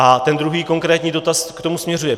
A ten druhý konkrétní dotaz k tomu směřuje.